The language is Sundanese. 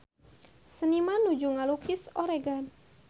Seniman nuju ngalukis Oregon